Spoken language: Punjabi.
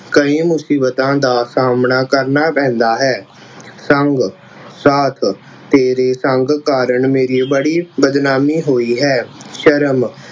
ਕਈ ਮੁਸੀਬਤਾਂ ਦਾ ਸਾਹਮਣਾ ਕਰਨਾ ਪੈਂਦਾ ਹੈ ਸੰਗ ਸਾਥ ਤੇਰੇ ਸੰਗ ਕਾਰਨ ਮੇਰੀ ਬੜੀ ਬਦਨਾਮੀ ਹੋਈ ਹੈ। ਸ਼ਰਮ